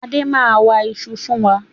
Adé máa wa ìṣù fún wa.